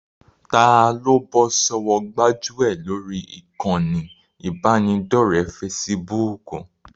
Taa ló bọ́ sọ́wọ́ gbájúẹ̀ lórí ìkànnì ìbánidọ́ọ̀rẹ́ fesibúùkù?